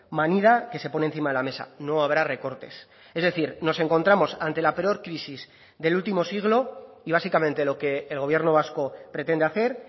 manida que se pone encima de la mesa no habrá recortes es decir nos encontramos ante la peor crisis del último siglo y básicamente lo que el gobierno vasco pretende hacer